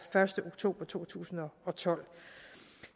første oktober to tusind og tolv